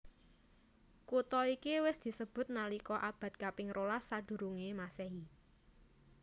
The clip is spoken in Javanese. Kutha iki wis disebut nalika abad kaping rolas sadurungé Masehi